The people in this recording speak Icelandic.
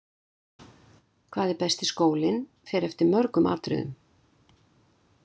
Hvað er besti skólinn fer eftir mörgum atriðum.